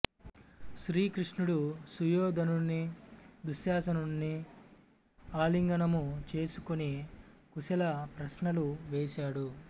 శ్రీకృష్ణుడు సుయోధనుని దుశ్శాసనుని ఆలింగనము చేసుకుని కుశల ప్రశ్నలు వేసాడు